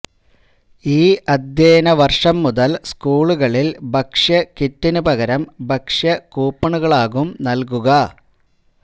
ഈ അധ്യയന വർഷം മുതൽ സ്കൂളുകളിൽ ഭക്ഷഅയ കിറ്റിന് പകരം ഭക്ഷ്യ കൂപ്പണുകളാകും നൽകുക